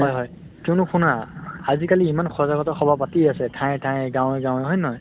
হয় হয় । কিয়্নো শুনা আজি কালি ইমান সজাগতা সভা পাতি আছে ঠায়ে ঠায়ে, গাঁৱে গাঁৱে, হয় নে নহয়?